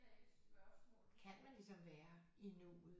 Kan man ligesom være i nuet